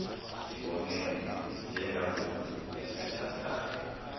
sibonene njengangoku siyathandana